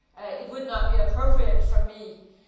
It would not be appropriate for me to do so.